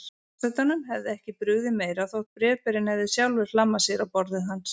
Forsetanum hefði ekki brugðið meira þótt bréfberinn hefði sjálfur hlammað sér á borðið hans.